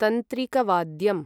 तन्त्रीकवाद्यम्